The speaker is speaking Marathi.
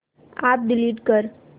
अॅप डिलीट कर